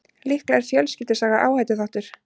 Líklega er fjölskyldusaga áhættuþáttur.